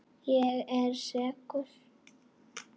Ég er sekur.